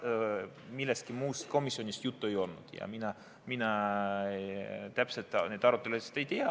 Millestki muust komisjonis juttu ei olnud ja mina täpselt neid arutelusid ei tea.